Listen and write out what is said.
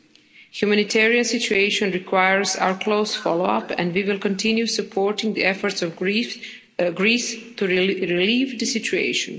The humanitarian situation requires our close follow up, and we will continue supporting the efforts of Greece to relieve the situation.